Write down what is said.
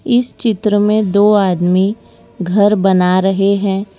इस चित्र में दो आदमी घर बना रहे है।